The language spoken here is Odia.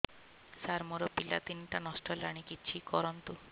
ସାର ମୋର ପିଲା ତିନିଟା ନଷ୍ଟ ହେଲାଣି କିଛି କରନ୍ତୁ